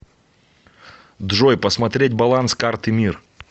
джой посмотреть баланс карты мир